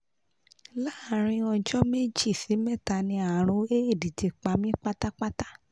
láàárín ọjọ́ méjì sí mẹ́ta ni àrùn éèdì ti pa mí pátápátá